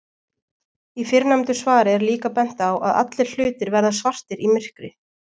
Í fyrrnefndu svari er líka bent á að allir hlutir verða svartir í myrkri.